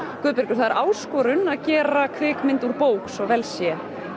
Guðbergur það er áskorun að gera kvikmynd úr bók svo vel sé